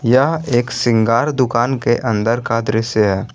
यह एक श्रृंगार दुकान के अंदर का दृश्य है।